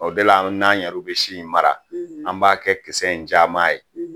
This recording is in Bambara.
O bɛɛ la n'an yɛrɛ bi si in mara an b'a kɛ kisɛ in caman ye